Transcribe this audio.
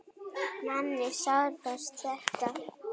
Manni sárnar þetta.